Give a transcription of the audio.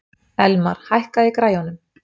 Elmar, hækkaðu í græjunum.